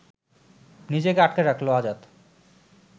নিজেকে আটকে রাখল আজাদ